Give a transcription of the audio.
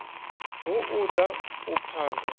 hu u da u phaga